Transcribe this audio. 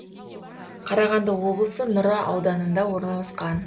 қарағанды облысы нұра ауданында орналасқан